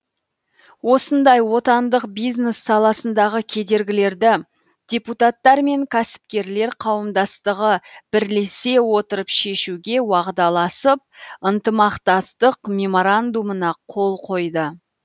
осындай отандық бизнес саласындағы кедергілерді депутаттар мен кәсіпкерлер қауымдастығы бірлесе отырып шешуге уағдаласып ынтымақтастық меморандумына қол қойды